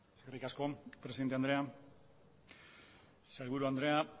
eskerrik asko presidente andrea sailburu andrea